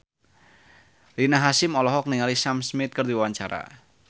Rina Hasyim olohok ningali Sam Smith keur diwawancara